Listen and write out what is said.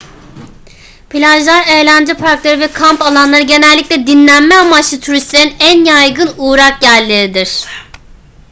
plajlar eğlence parkları ve kamp alanları genellikle dinlenme amaçlı turistlerin en yaygın uğrak yerleridir